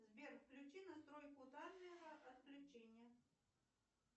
сбер включи настройку таймера отключение